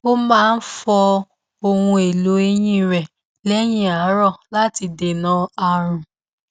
ó máa fọ ohun èlò eyín rẹ lẹyìn àárọ láti dènà ààrùn